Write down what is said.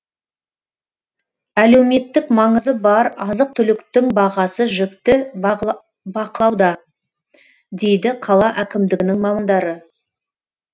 әлеуметтік маңызы бар азық түліктің бағасы жіті бақылауда дейді қала әкімдігінің мамандары